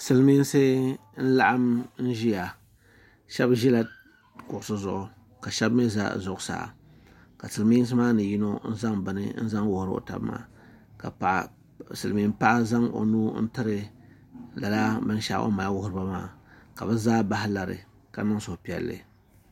Silimiinsi n-laɣim n-ʒiya shɛba ʒila kuɣisi zuɣu ka shɛba mi za zuɣusaa ka silimiinsi maa ni yino zaŋ bini n-zaŋ wuhi o ka silimiin' paɣa zaŋ o nuu m-piri lala bin' shɛɣu o mali wuhiri ba maa ka bɛ zaa bahi lari ka niŋ suhupiɛlli.